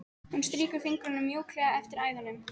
Hún strýkur fingrunum mjúklega eftir æðunum.